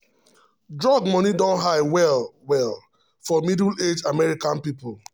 drug money don high well-well for middle-aged american people.